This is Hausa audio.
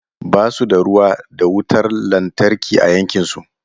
Ba su da ruwa da wutar lantarki a yankin su.